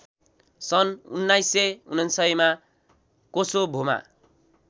सन् १९९९ मा कोसोभोमा